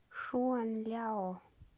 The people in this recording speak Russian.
шуанляо